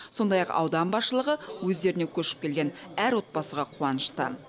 сондай ақ аудан басшылығы өздеріне көшіп келген әр отбасыға қуанышты